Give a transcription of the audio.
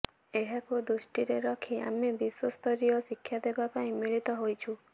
ଏହାକୁ ଦୃଷ୍ଟିରେ ରଖି ଆମେ ବିଶ୍ୱସ୍ତରୀୟ ଶିକ୍ଷାଦେବା ପାଇଁ ମିଳିତ ହୋଇଛୁ